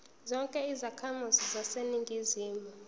zonke izakhamizi zaseningizimu